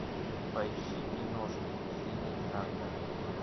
поищи киношку синий трактор